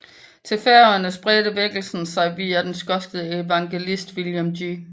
Til Færøerne spredte vækkelsen sig via den skotske evangelist William G